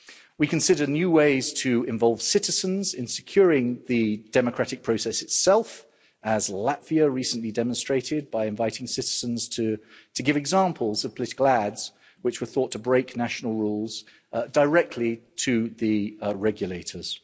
We consider new ways to involve citizens in securing the democratic process itself, as Latvia recently demonstrated, by inviting citizens to give examples of political ads which were thought to break national rules directly to the regulators.